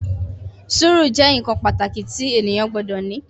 Sùúrù jẹ́ nǹkan pàtàkì tí ènìyàn gbọdọ̀ ní